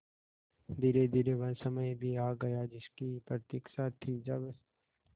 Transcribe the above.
धीरेधीरे वह समय भी आ गया जिसकी प्रतिक्षा थी जब